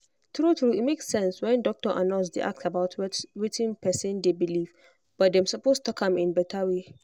true true e make sense when doctor and nurse dey ask about wetin person dey believe but dem suppose talk am in better way.